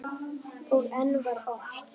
Og enn var ort.